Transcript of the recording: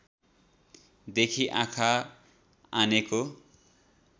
देखि आँखा आनेको